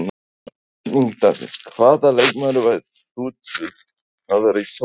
Spurning dagsins: Hvaða leikmaður værir þú til í að vera í sólarhring?